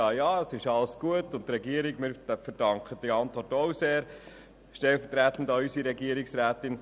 Ja, ja, es ist alles gut, und die Regierung verdankt die Antwort auch sehr, stellvertretend an unsere Regierungsrätin.